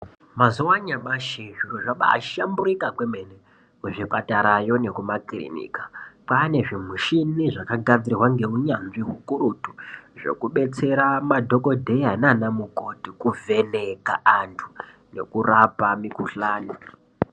Mazuwa anyamashi zviro zvabahlamburuka kweemitombo kuzvi kwane zvimuchini zvakagadzirwa ngeunyanzvi ukurutu zvekudetsera madhokodheya nanamukoti kuvheneka antu ngekurapa mikuhlani.